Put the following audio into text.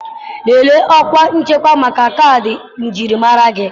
Lelee ọkwa nchekwa maka kaadị njirimara gị.